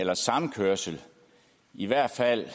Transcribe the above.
eller samkørsel i hvert fald